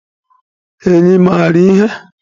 Enyí mara ihe?